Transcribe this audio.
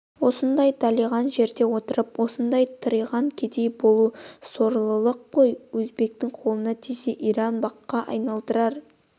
осындай далиған жерде отырып осындай тыриған кедей болу сорлылық қой өзбектің қолына тисе иран баққа айналдырар